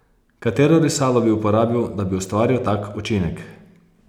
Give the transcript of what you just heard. Katero risalo bi uporabil, da bi ustvaril tak učinek?